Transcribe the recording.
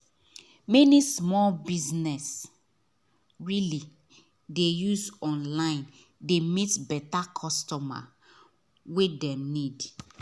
many small business really dey use online dey meet better customer wey dem need